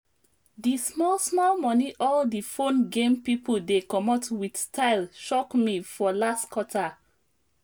di small small money all di phone game people dey comot with sytle shock me for last quarter